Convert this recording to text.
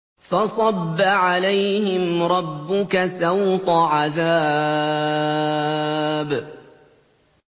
فَصَبَّ عَلَيْهِمْ رَبُّكَ سَوْطَ عَذَابٍ